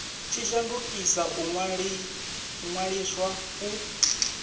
tshi shandukisa u ṅwaliswa u